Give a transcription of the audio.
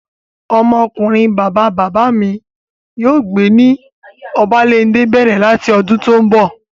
Ọmọ ọkunrin bàbá bàbá mi yóò máa gbé ní Obalende bẹ̀rẹ̀ láti ọdún tó n bọ̀